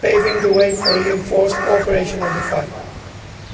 paving the way for reinforced cooperation on the issue.